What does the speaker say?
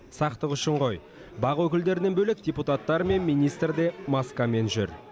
сақтық үшін ғой бақ өкілдерінен бөлек депутаттар мен министр де маскамен жүр